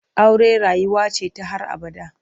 Aure rayuwa ce ta har abada.